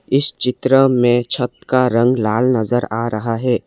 इस चित्र में छत का रंग लाल नजर आ रहा है।